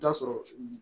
I bi t'a sɔrɔ